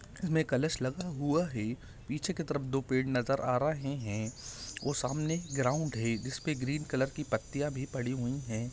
इसमे कलश लगा हुआ है पीछे की तरफ दो पेड़ नजर आ रहे हैं और सामने ग्राउन्ड है जिसपे ग्रीन कलर की पत्तियां भी पड़ी हुई हैं।